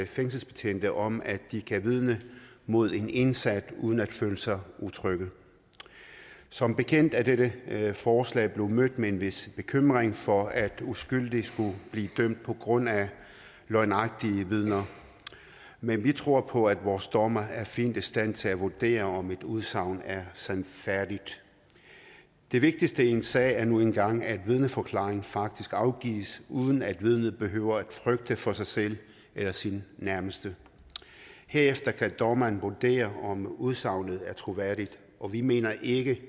fængselsbetjente om at de kan vidne mod en indsat uden at føle sig utrygge som bekendt er dette forslag blevet mødt med en vis bekymring for at uskyldige skulle blive dømt på grundlag af løgnagtige vidner men vi tror på at vores dommere er fint i stand til at vurdere om et udsagn er sandfærdigt det vigtigste i en sag er nu engang at vidneforklaringen faktisk afgives uden at vidnet behøver frygte for sig selv eller sine nærmeste herefter kan dommeren vurdere om udsagnet er troværdigt og vi mener ikke